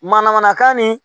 Manamanakan nin